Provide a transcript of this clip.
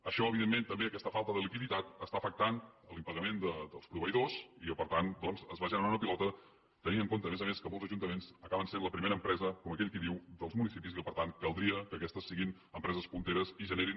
això evidentment també aquesta falta de liquiditat està afectant l’impagament dels proveïdors i per tant doncs es va generant una pilota tenint en compte a més a més que molts ajuntaments acaben sent la primera empresa com aquell qui diu dels municipis i que per tant caldria que aquestes fossin empreses punteres i generessin